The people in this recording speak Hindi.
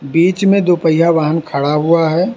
बीच में दो पहिया वाहन खड़ा हुआ है।